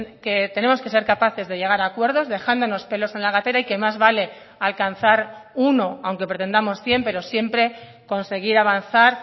que tenemos que ser capaces de llegar a acuerdos dejándonos pelos en la gatera y que más vale alcanzar uno aunque pretendamos cien pero siempre conseguir avanzar